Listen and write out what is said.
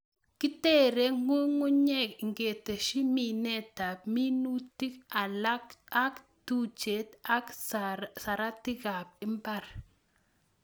Kitere ng'ung'unyek ingetsyi minetab minutin alak ak tuchet ak saratikab mbar.